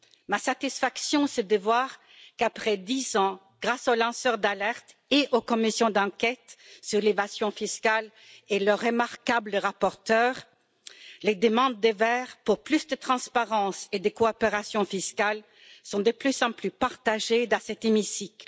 Ma satisfaction, c'est de voir qu'après dix ans, grâce aux lanceurs d'alertes et aux commissions d'enquête sur l'évasion fiscale et leurs remarquables rapporteurs, les demandes des Verts pour plus de transparence et de coopération fiscale sont de plus en plus partagées dans cet hémicycle.